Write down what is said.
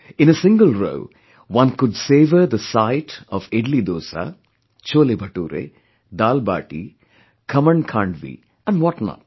In a single row, one could savour the sight of Idli Dosa, Chhole Bhature, Daal Baati, Khaman Khandvi & what not